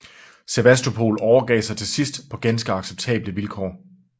Sevastopol overgav sig til sidst på ganske acceptable vilkår